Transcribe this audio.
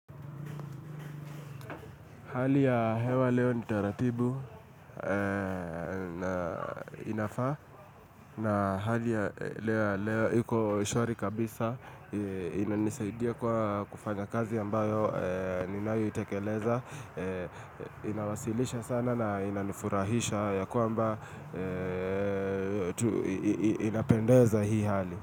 Hali ya hewa leo ni taratibu na inafaa na hali ya leo iko shwari kabisa inanisaidia kwa kufanya kazi ambayo ninayo itekeleza inawasilisha sana na inanifurahisha ya kwamba inapendeza hii hali.